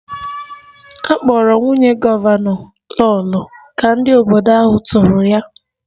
A kpọrọ nwunye gọvanọ Lolo ka ndị obodo ahụ toro ya